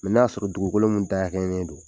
n'a y'a sɔrɔ dugukolo min dafalen don.